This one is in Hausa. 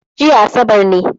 Jiya asabar ne